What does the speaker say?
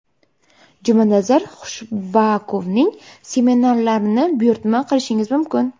Jumanazar Khushbakovning seminarlarini buyurtma qilishingiz mumkin!